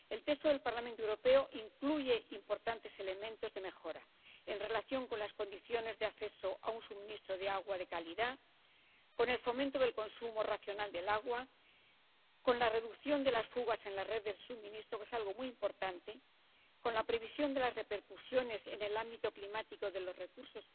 El texto del Parlamento Europeo incluye importantes elementos de mejora en relación con las condiciones de acceso a un suministro de agua de calidad, con el fomento del consumo racional del agua, con la reducción de las fugas en la red de suministro —que es algo muy importante—, con la previsión de las repercusiones en el ámbito climático de los recursos